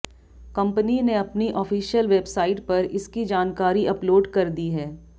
company ने अपनी official website पर इसकी जानकारी अपलोड कर दी है